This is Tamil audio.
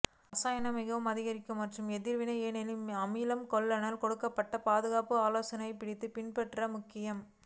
ரசாயன மிகவும் அரிக்கும் மற்றும் எதிர்வினை ஏனெனில் அமில கொள்கலன் கொடுக்கப்பட்ட பாதுகாப்பு ஆலோசனை படித்து பின்பற்ற முக்கியம்